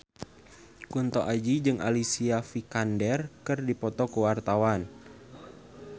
Kunto Aji jeung Alicia Vikander keur dipoto ku wartawan